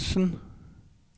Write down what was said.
Harzen